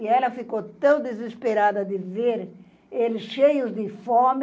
E ela ficou tão desesperada de ver eles cheios de fome,